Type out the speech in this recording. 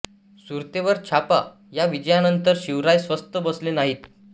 सुरतेवर छापा या विजयांनंतर शिवराय स्वस्थ बसले नाहीत